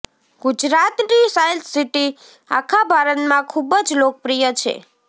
ગુજરાતની science city આખા ભારતમાં ખુબ જ લોકપ્રિય છે